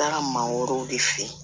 Taara maa wɛrɛw de fɛ yen